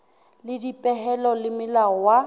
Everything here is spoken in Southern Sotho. le dipehelo le maemo wa